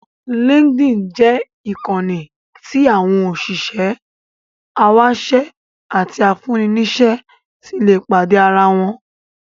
Linkedin jẹ́ ìkànnì tí àwọn òṣìṣẹ́, awáṣẹ́ àti afúnni-níṣẹ́ ti lè pàdé ara wọn.